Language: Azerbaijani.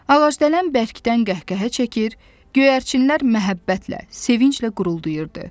Ağacdələn bərkdən qəhqəhə çəkir, göyərçinlər məhəbbətlə, sevinclə quruldayırdı.